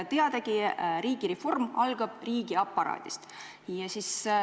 Teadagi, riigireform algab riigiaparaadist.